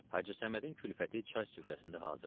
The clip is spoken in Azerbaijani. Hacı Səmədin külfəti çay süfrəsində hazır idi.